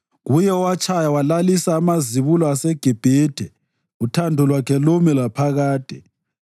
Kuye owatshaya walalisa amazibulo aseGibhithe, uthando lwakhe lumi laphakade.